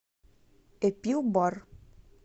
эпилбар